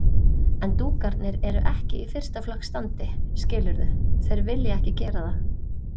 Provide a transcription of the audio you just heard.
En dúkarnir eru ekki í fyrsta flokks standi, skilurðu. þeir vilja ekki gera það.